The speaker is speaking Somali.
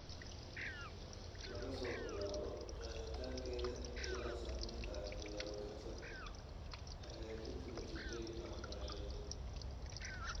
Laga soo bilaabo qeexitaankeeda ilaa saamaynta ay ku yeelan karto hagaajinta natiijooyinka waxbarashada.